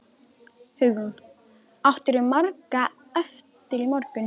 Hugrún: Áttirðu margar eftir í morgun?